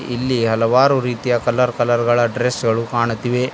ಇಲ್ಲಿ ಹಲವಾರು ರೀತಿಯ ಕಲರ್ ಕಲರ್ ಗಳ ಡ್ರೆಸ್ ಗಳು ಕಾಣುತ್ತಿವೆ.